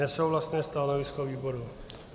Nesouhlasné stanovisko výboru.